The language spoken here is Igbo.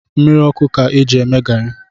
Mmiri ọkụ ka-eji eme garị